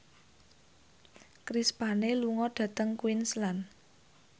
Chris Pane lunga dhateng Queensland